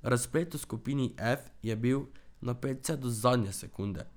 Razplet v skupini F je bil napet vse do zadnje sekunde.